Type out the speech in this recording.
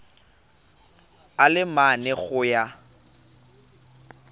a le mane go ya